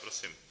Prosím.